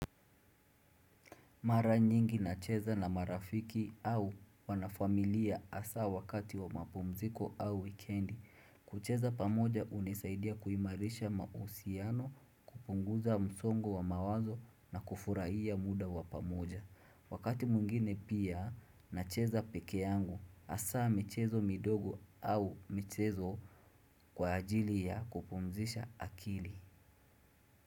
Mara nyingi na cheza na marafiki au wanafamilia hasaa wakati wa mapumziko au wikendi. Kucheza pamoja unisaidia kuimarisha mausiano, kupunguza msongo wa mawazo na kufurahia muda wa pamoja. Wakati mwingine pia na cheza peke yangu asaa michezo midogo au michezo kwa ajili ya kupumzisha akili.